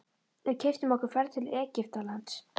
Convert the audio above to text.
Við keyptum okkur ferð til Egyptalands.